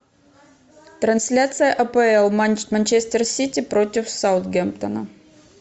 трансляция апл манчестер сити против саутгемптона